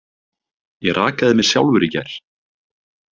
Ég rakaði mig sjálfur í gær.